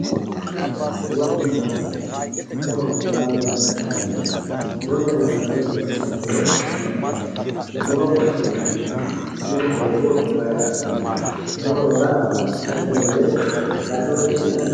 muronna laalo muronna laalo yaa mayaate murotenna laalote noonsa badooshi maati muro massi'nanitemuro hooguro may qarri no muro yaa itate woye agate horonsi'nanni